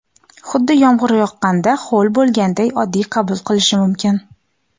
xuddi yomg‘ir yoqqanda ho‘l bo‘lganday oddiy qabul qilishi mumkin.